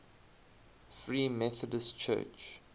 free methodist church